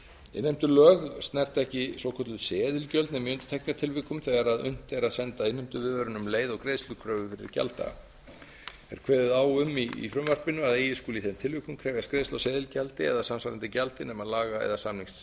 innheimtulög snerta ekki svokölluð seðilgjöld nema í einstaka tilvikum þegar unnt er að senda innheimtuviðvörun um leið og greiðslukröfur gjalddaga er kveðið á um í frumvarpinu að eigi skuli í þeim tilvikum krefjast greiðslu á seðilgjaldi eða samsvarandi gjaldi nema laga eða samningsheimild